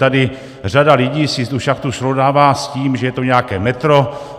Tady řada lidí si tu šachtu srovnává s tím, že je to nějaké metro.